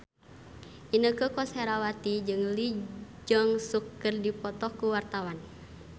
Inneke Koesherawati jeung Lee Jeong Suk keur dipoto ku wartawan